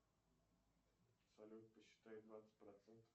салют посчитай двадцать процентов